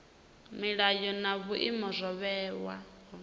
milayo na vhuimo zwo vhewaho